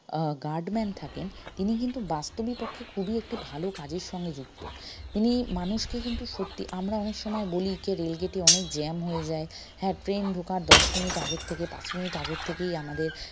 আহ guard man থাকেন তিনি কিন্তু বাস্তবিক পক্ষে খুবই একটি ভালো কাজের সঙ্গে যুক্ত তিনি মানুষকে কিন্তু সত্যি আমরা অনেক সময় বলি rail gate এ অনেক jam হয়ে যায় হ্যা train ঢুকার দশ minute আগের থেকে পাঁচ minute আগের থেকেই আমাদের